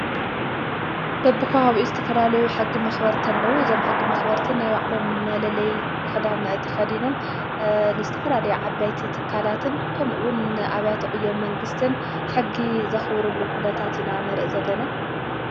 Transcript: በብከባቢኡ ዝተፈላለዩ ሕጊ መኽበር እንተለዉ ዘም ሕጊ መኽበርትን ናይ ባዕሎም መለለይ ኽዳን ተኸዲኖም ንዝ ተፈላለይ ዓባይቲ ትካላትን ከምኡውን ኣብያት ዕዮ መንግሥትን ሕጊ ዘኽብሩሉ ዂነታት ንርኢ ዘለና::